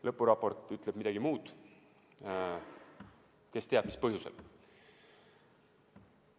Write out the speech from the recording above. Lõpuraport ütleb midagi muud – kes teab, mis põhjusel.